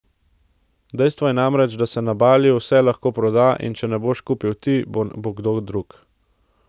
Dejstvo je namreč, da se na Baliju vse lahko proda in če ne boš kupil ti, bo kdo drug.